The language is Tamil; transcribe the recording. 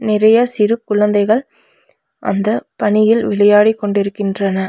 நிறைய சிறு குழந்தைகள் அந்த பணியில் விளையாடிகொண்டிருக்கின்றனர்.